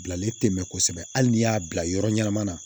Bilalen tɛ mɛ kosɛbɛ hali n'i y'a bila yɔrɔ ɲɛnama na